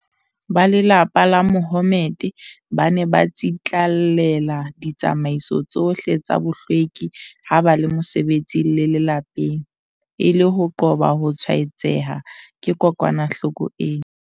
Ba lelapa la Mahommed ba ne ba tsitlallela ditsamaiso tsohle tsa bohlweki ha ba le mosebetsing le lapeng, e le ho qoba ho tshwae-tseha ke kokwa-nahloko ena.